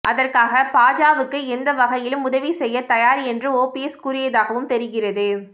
அதற்காக பாஜவுக்கு எந்த வகையிலும் உதவி செய்ய தயார் என்று ஓபிஎஸ் கூறியதாகவும் தெரிகிறது